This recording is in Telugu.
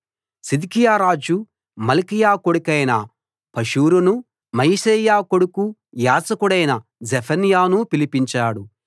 సిద్కియా రాజు మల్కీయా కొడుకైన పషూరునూ మయశేయా కొడుకూ యాజకుడైన జెఫన్యానూ పిలిపించాడు